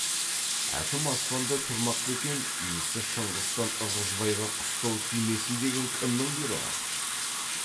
әкім аспанда тұрмақ па екен иісі шыңғыстан ырғызбайға қыстау тимесін деген кімнің бұйрығы